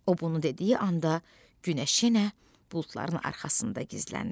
O bunu dediyi anda günəş yenə buludların arxasında gizləndi.